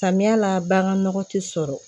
Samiya la bagan nɔgɔ te sɔrɔ